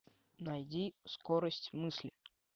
найди скорость мысли